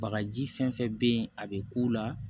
Bagaji fɛn fɛn be yen a be k'u la